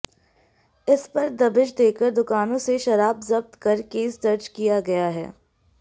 इस पर दबिश देकर दुकानों से शराब जब्त कर केस दर्ज किया गया है